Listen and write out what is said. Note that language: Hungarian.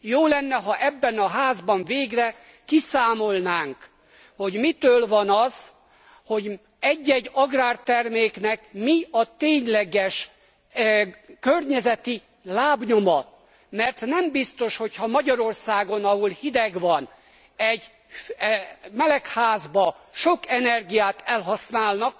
Jó lenne, ha ebben a Házban végre kiszámolnánk, hogy mitől van az, hogy egy egy agrárterméknek mi a tényleges környezeti lábnyoma, mert nem biztos, hogy ha Magyarországon, ahol hideg van, egy melegházban sok energiát elhasználnak,